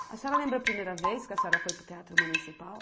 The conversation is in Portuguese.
A senhora lembra a primeira vez que a senhora foi para o Teatro Municipal?